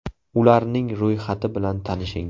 Ularning ro‘yxati bilan tanishing.